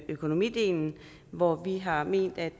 økonomidelen hvor vi har ment at